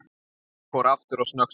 Gulli fór aftur að snökta.